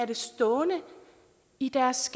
det stående i deres